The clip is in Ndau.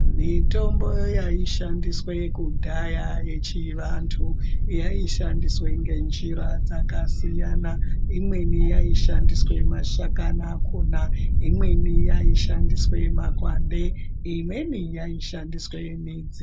Mitombo yaishandiswe kudhaya yechivantu, yaishandiswe ngenjira dzakasiyana. Imweni yaishandiswe mashakani akhona, imweni yaishandiswe makwande, imweni yaishandiswe midzi.